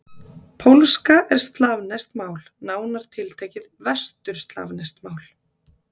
Pólska er slavneskt mál, nánar tiltekið vesturslavneskt mál.